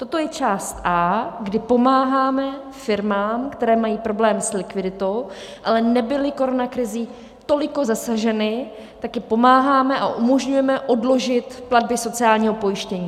Toto je část A, kdy pomáháme firmám, které mají problém s likviditou, ale nebyly koronakrizí tolik zasaženy, tak jim pomáháme a umožňujeme odložit platby sociálního pojištění.